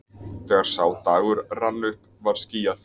Þegar sá dagur rann upp var skýjað!